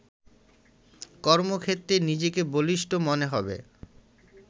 কর্মক্ষেত্রে নিজেকে বলিষ্ঠ মনে হবে।